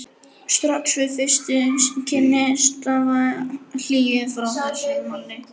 Strax við fyrstu kynni stafaði hlýju frá þessum manni.